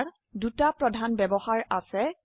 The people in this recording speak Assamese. ইয়াৰ দুটি প্ৰধান ব্যবহাৰ আছে